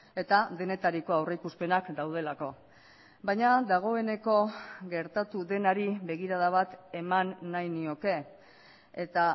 eta denetariko aurrikuspenak daudelako baina dagoeneko gertatu denari begirada bat eman nahi nioke eta